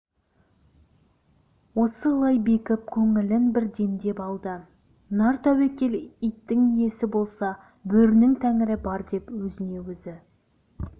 осылай бекіп көңілін бір демдеп алды нартәуекел иттің иесі болса бөрінің тәңірі бар деп өзіне өзі